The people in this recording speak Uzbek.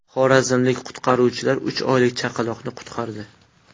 Xorazmlik qutqaruvchilar uch oylik chaqaloqni qutqardi.